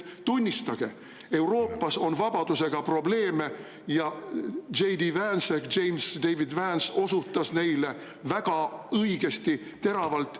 Tunnistage, et Euroopas on vabadusega probleeme ja J. D. Vance ehk James David Vance osutas neile väga õigesti, teravalt.